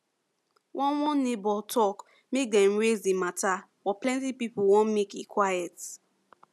one one neighbor talk make them raise the matter but plenty people way make e quite